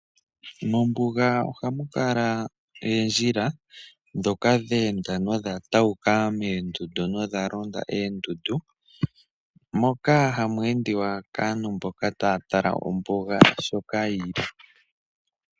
Mombuga ohamu kala oondjila ndhoka dheenda nodha tawuka moondundu nodha londa oondundu. Moka hamu endiwa kaantu mboka taya tala ombuga sho yili.